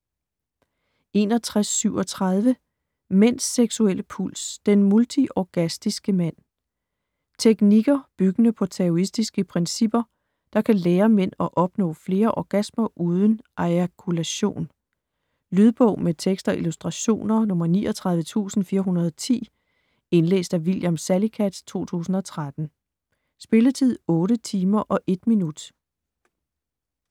61.37 Mænds seksuelle puls: den multiorgastiske mand Teknikker, byggende på taoistiske principper, der kan lære mænd at opnå flere orgasmer uden ejakulation. Lydbog med tekst og illustrationer 39410 Indlæst af William Salicath, 2013. Spilletid: 8 timer, 1 minutter.